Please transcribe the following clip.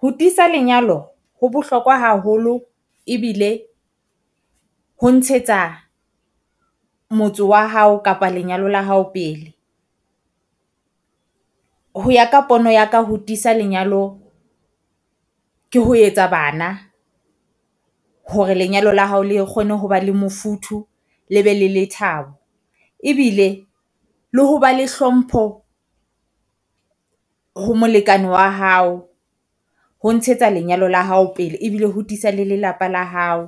Ho tiisa lenyalo ho bohlokwa haholo, ebile ho ntshetsa motso wa hao kapa lenyalo la hao pele. Ho ya ka pono ya ka ho tiisa lenyalo ke ho etsa bana hore lenyalo la hao le kgone ho ba le mofuthu, le be le lethabo. Ebile le ho ba le hlompho ho molekane wa hao ho ntshetsa lenyalo la hao pele ebile ho tiisa le lelapa la hao.